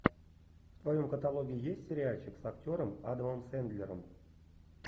в твоем каталоге есть сериальчик с актером адамом сэндлером